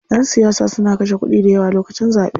Ƴan siyasa suna kashe kuɗi dayawa lokacin zaɓe.